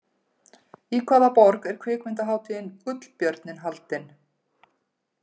Í hvaða borg er kvikmyndahátíðin Gullbjörninn haldin?